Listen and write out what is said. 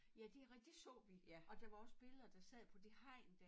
Ja det rigtigt dét så vi og der var også billeder der sad på det hegn dér